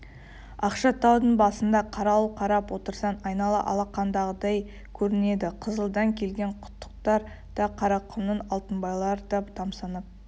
ақшатаудың басында қарауыл қарап отырсаң айнала алақандағыдай көрінеді қызылдан келген құттықтар да қарақұмның алтынбайлары да тамсанып